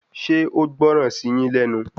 Ṣé o gbọ́ràn sí yín lẹ́nu